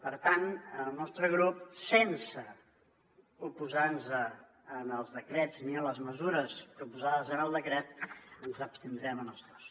per tant en el nostre grup sense oposar nos als decrets ni a les mesures proposades en el decret ens hi abstindrem en els dos